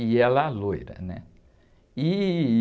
E ela loira, né? E...